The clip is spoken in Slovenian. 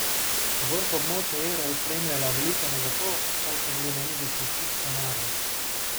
Vrh območja evra je spremljala velika negotovost, saj so bili na mizi še vsi scenariji.